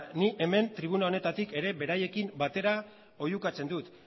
ni hemen tribuna honetatik beraiekin batera oihukatzen dut